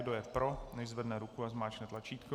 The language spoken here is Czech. Kdo je pro, nechť zvedne ruku a zmáčkne tlačítko.